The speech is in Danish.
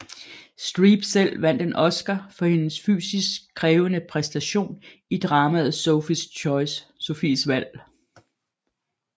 Streep selv vandt en Oscar for hendes fysisk krævende præstation i dramaet Sophies valg